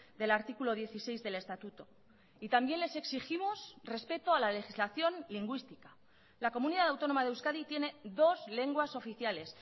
del artículo dieciséis del estatuto y también les exigimos respeto a la legislación lingüística la comunidad autónoma de euskadi tiene dos lenguas oficiales